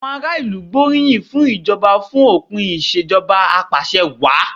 Àwọn aráàlú gbóríyìn fún ìjọba fún òpin ìṣèjọba apàṣẹwàá.